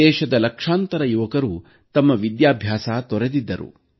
ದೇಶದ ಲಕ್ಷಾಂತರ ಯುವಕರು ತಮ್ಮ ವಿದ್ಯಾಭ್ಯಾಸ ತೊರೆದಿದ್ದರು